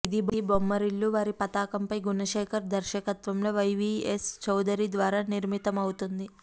ఇది బొమ్మరిల్లు వారి పతాకంపై గుణశేఖర్ దర్శకత్వంలో వైవీఎస్ చౌదరి ద్వారా నిర్మితమవుతుంది